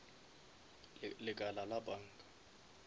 lekala la banka